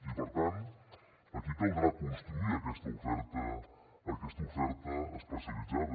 i per tant aquí caldrà construir aquesta oferta especialitzada